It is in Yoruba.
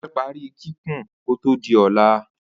ofé pari kikun ko to di óla